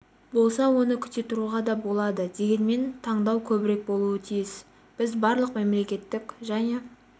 болса оны күте тұруға да болады дегенмен таңдау көбірек болуы тиіс біз барлық мемлекеттік және